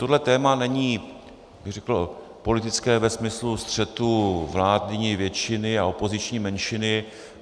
Tohle téma není bych řekl politické ve smyslu střetu vládní většiny a opoziční menšiny.